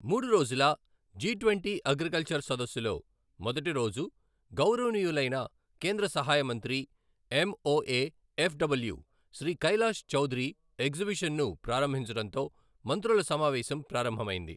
మూడు రోజుల G twenty agriculture సదస్సులో మొదటి రోజు గౌరవనీయులైన కేంద్ర సహాయ మంత్రి, ఎంఒఏ ఎఫ్‌డబ్ల్యూ శ్రీ కైలాష్ చౌదరి ఎగ్జిబిషన్‌ను ప్రారంభించడంతో మంత్రుల సమావేశం ప్రారంభమైంది.